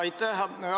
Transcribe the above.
Aitäh!